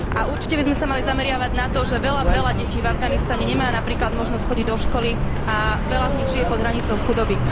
A určite by sme sa mali zameriavať na to, že veľa detí v Afganistane nemá napríklad možnosť chodiť do školy a veľa z nich žije pod hranicou chudoby.